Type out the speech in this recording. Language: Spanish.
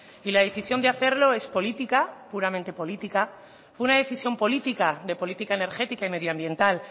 y la decisión de hacerlo es política puramente política fue una decisión política de política energética y medioambiental